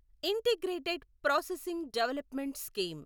integrated processing development scheme